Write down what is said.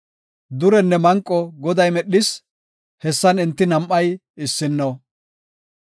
Durenne manqo Goday medhis; hessan enti nam7ay issino.